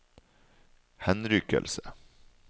henrykkelse